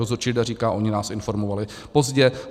Dozorčí rada říká - oni nás informovali pozdě.